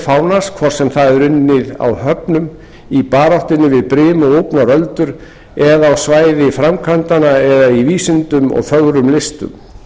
fánans hvort sem það er unnið á höfunum í baráttunni við brim og úfnar öldur eða á svæði framkvæmdanna eða í vísindum og fögrum listum